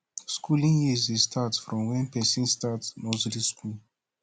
skooling years dey start from wen pesin start nursery skool